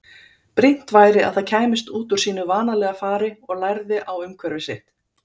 Brýnt væri að það kæmist út úr sínu vanalega fari og lærði á umhverfi sitt.